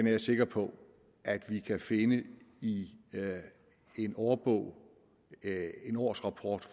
jeg sikker på at vi kan finde i en årbog eller en årsrapport